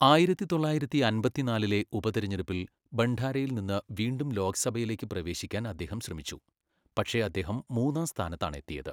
ആയിരത്തിതൊള്ളയിരത്തിഅമ്പത്തിനാലിലെ ഉപതെരഞ്ഞെടുപ്പിൽ ഭണ്ഡാരയിൽ നിന്ന് വീണ്ടും ലോക്സഭയിലേക്ക് പ്രവേശിക്കാൻ അദ്ദേഹം ശ്രമിച്ചു, പക്ഷേ അദ്ദേഹം മൂന്നാം സ്ഥാനത്താണ് എത്തിയത്.